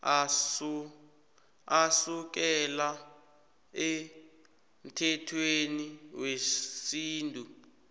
asukela emthethweni wesintu